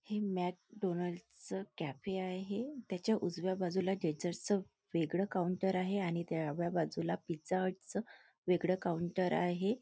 हे मॅकडोनाल्ड च कॅफे आहे त्याच्या उजव्या बाजूला वेगळ काऊंटर आहे आणि डाव्या बाजूला पिझ्झा हट च वेगळ काऊंटर आहे.